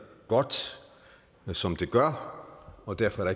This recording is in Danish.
godt som det gør og derfor